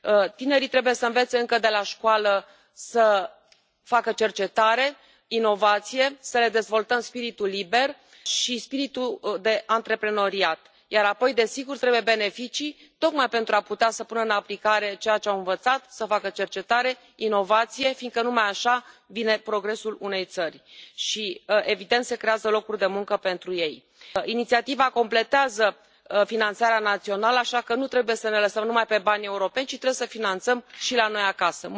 Tinerii trebuie să învețe încă de la școală să facă cercetare, inovație, să le dezvoltăm spiritul liber și spiritul de antreprenoriat, iar apoi, desigur, trebuie beneficii tocmai pentru a putea să pună în aplicare ceea ce au învățat, să facă cercetare, inovație, fiindcă numai așa vine progresul unei țări și, evident, se creează locuri de muncă pentru ei. Inițiativa completează finanțarea națională, așa că nu trebuie să ne bazăm numai pe bani europeni, ci trebuie să finanțăm și la noi acasă.